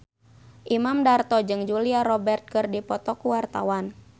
Imam Darto jeung Julia Robert keur dipoto ku wartawan